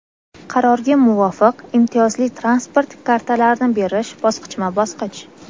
Qarorga muvofiq, imtiyozli transport kartalarini berish bosqichma-bosqich:.